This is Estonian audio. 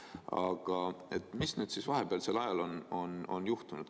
Aga mis siis nüüd vahepealsel ajal on juhtunud?